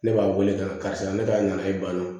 Ne b'a wele ka karisa ne ta na na ye bana